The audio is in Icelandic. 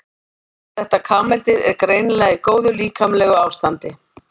Þetta kameldýr er greinilega í góðu líkamlegu ástandi.